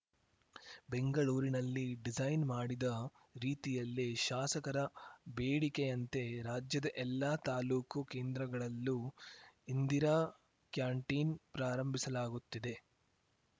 ಬೆಂಗಳೂರಿನಲ್ಲಿ ಡಿಸೈನ್‌ ಮಾಡಿದ ರೀತಿಯಲ್ಲೇ ಶಾಸಕರ ಬೇಡಿಕೆಯಂತೆ ರಾಜ್ಯದ ಎಲ್ಲಾ ತಾಲೂಕು ಕೇಂದ್ರಗಳಲ್ಲೂ ಇಂದಿರಾ ಕ್ಯಾಂಟೀನ್‌ ಪ್ರಾರಂಭಿಸಲಾಗುತ್ತಿದೆ